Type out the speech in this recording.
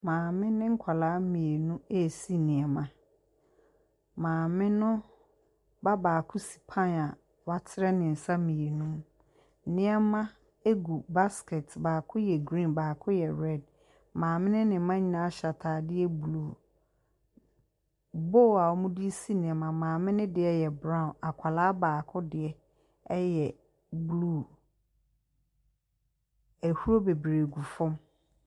Maame ne nkwadaa mmienu resi nneɛma. Maame no ba baako si pan a watene ne nsa mmienu mu. Nneɛma no gu basket mu, baako yɛ green baako yɛ red. Maame no ne mma nyinaa hyɛ ataadeɛ blue. Bowl a wɔde resi nneɛma no maame no deɛ yɛ brown akwadaa baako deɛ yɛ blue. Ahuro bebiree gu fam.